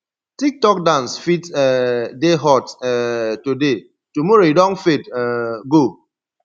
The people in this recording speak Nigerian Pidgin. tic tok dance fit um dey hot um today tomorrow e don fade um go